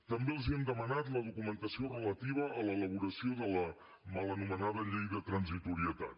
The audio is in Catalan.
també els hem demanat la documentació relativa a l’elaboració de la mal anomenada llei de transitorietat